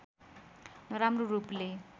नराम्रो रूपले